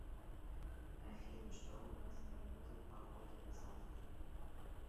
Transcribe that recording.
афина что у нас с прогнозом погоды на завтра